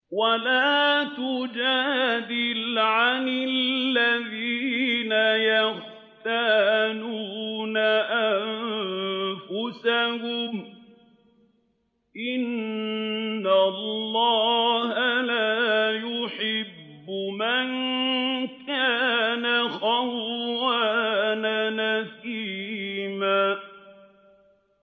وَلَا تُجَادِلْ عَنِ الَّذِينَ يَخْتَانُونَ أَنفُسَهُمْ ۚ إِنَّ اللَّهَ لَا يُحِبُّ مَن كَانَ خَوَّانًا أَثِيمًا